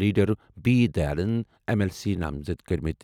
Leader B Dayanand M L C نامزد کوٚرمُت۔